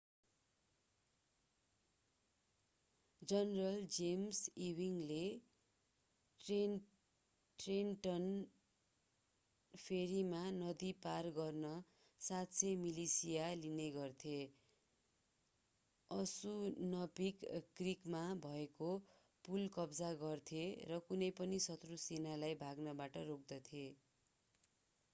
general James ईविङ्गले Trenton फेरीमा नदी पार गर्न 700 मिलिशिया लिने गर्थे असुनपिंक क्रिकमा भएको पुल कब्जा गर्थे र कुनै पनि शत्रू सेनालाई भाग्नबाट रोक्दथे